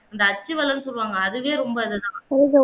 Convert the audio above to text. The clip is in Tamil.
அந்த அச்சு வலம்னு சொல்வாங்க அதுவே ரொம்ப நல்லது தான்